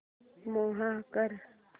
move कर